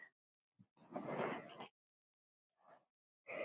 Ég stari í undrun.